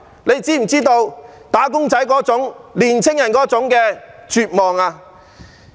你是否知道"打工仔"、年青人那種絕望？